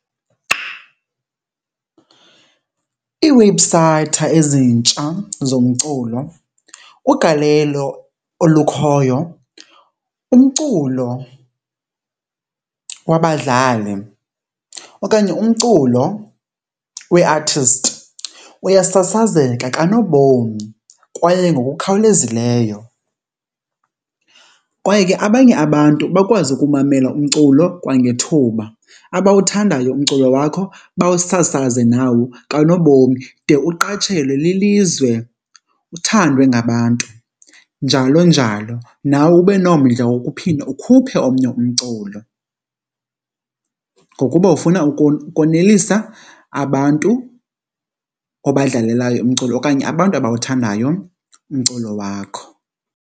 Iiwebhusayithi ezintsha zomculo ugalelo olukhoyo, umculo wabadlali okanye umculo wee-artist uyasasazeka kanobom kwaye ngokukhawulezileyo kwaye ke abanye abantu bakwazi ukumamela umculo kwangethuba. Abawuthandayo umculo wakho bawusasaze nawo kanobomi de uqatshelwe lilizwe, uthandwe ngabantu, njalo njalo. Nawe ube nomdla wokuphinda ukhuphe omnye umculo ngokuba ufuna ukonelisa abantu obadlalelayo umculo okanye abantu abawuthandayo umculo wakho.